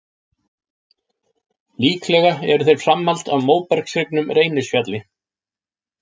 Líklega eru þeir framhald af móbergshryggnum Reynisfjalli.